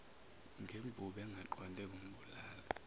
ngemvubu engaqonde kumbulala